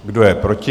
Kdo je proti?